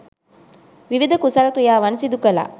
විවිධ කුසල ක්‍රියාවන් සිදු කළා.